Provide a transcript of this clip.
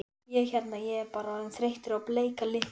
Ég hérna. ég var bara orðinn þreyttur á bleika litnum.